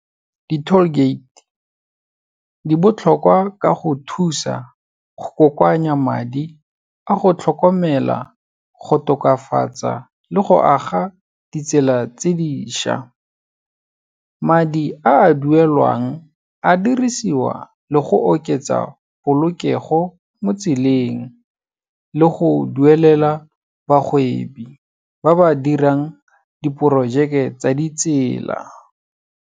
Di-tall gate, di botlhokwa ka go thusa go kokoanya madi a go tlhokomela, go tokafatsa le go aga ditsela tse di šwa. Madi a duelwang a dirisiwa le go oketsa polokego motseleng le go duelela bagwebi ba ba dirang diporojeke tsa ditsela.